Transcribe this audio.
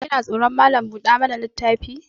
Kina tsoron Malam buɗa mana littafi?